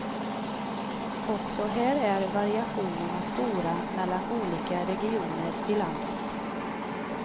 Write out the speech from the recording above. Också här är variationerna stora mellan olika regioner i landet.